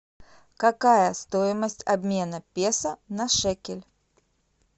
какая стоимость обмена песо на шекель